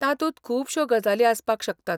तातूंत खुबश्यो गजाली आसपाक शकतात.